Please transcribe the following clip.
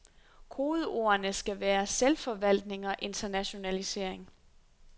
Kodeordene skal være selvforvaltning og internationalisering.